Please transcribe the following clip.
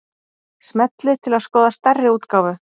Smellið til að skoða stærri útgáfu